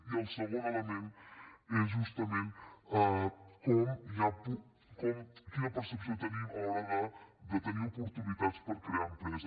i el segon element és justament quina percepció tenim a l’hora de tenir oportunitats per crear empresa